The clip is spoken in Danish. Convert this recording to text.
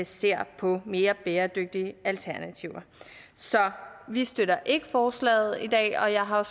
ser på mere bæredygtige alternativer så vi støtter ikke forslaget i dag og jeg har